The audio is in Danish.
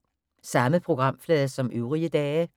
Samme programflade som øvrige dage